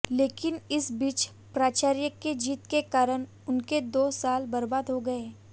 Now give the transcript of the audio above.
लेकिन इस बीच प्राचार्या के जिद के कारण उनके दो साल बर्बाद हो गये